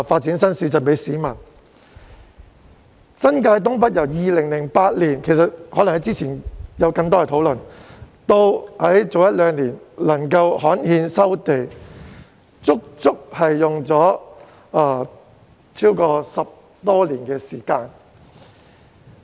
就新界東北而言，政府由2008年起——之前可能有更多討論——至一兩年前才能夠刊憲收地，過程足足花了10多年時間。